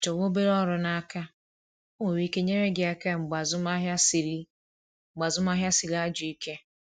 Chọwa obere ọrụ n’aka, o nwere ike nyere gị aka mgbe azụmahịa sịrị mgbe azụmahịa sịrị ajọ ike